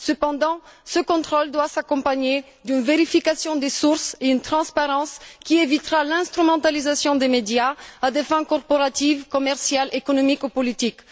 Cependant, ce contrôle doit s'accompagner d'une vérification des sources et d'une transparence qui évitera l'instrumentalisation des médias à des fins corporatistes, commerciales, économiques ou politiques.